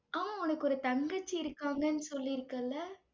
ஆமா, உனக்கு ஒரு தங்கச்சி இருக்காங்கன்னு சொல்லி இருக்கல்ல?